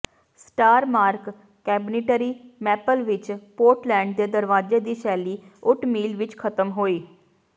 Starmark cabinetry maple ਵਿੱਚ Portland ਦੇ ਦਰਵਾਜੇ ਦੀ ਸ਼ੈਲੀ ਓਟਮੀਲ ਵਿੱਚ ਖ਼ਤਮ ਹੋਈ